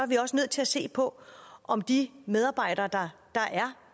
vi også nødt til at se på om de medarbejdere der er